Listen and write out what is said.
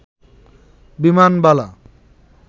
বিমানবালা